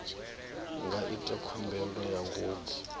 nga ita khumbelo ya ngomu